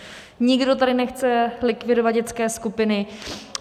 Nikdo tady nechce likvidovat dětské skupiny.